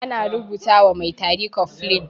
Ana rubuta wa mai tari cofflin.